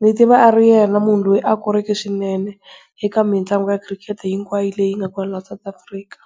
ni tiva a ri yena munhu loyi a koreke swinene eka mitlangu hinkwayo leyi nga kona laha South Africa.